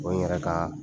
O ye n yɛrɛ ka